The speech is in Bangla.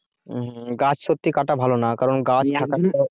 গাছ সত্যি কাটা ভালো না কারণ